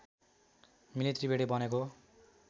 मिली त्रिवेणी बनेको